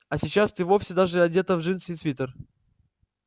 а сейчас ты вовсе даже одета в джинсы и свитер